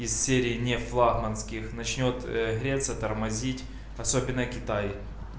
из серии не флагманских начнёт греться тормозить особенно китай